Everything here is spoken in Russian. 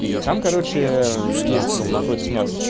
и там короче ээ мм есть напротив нас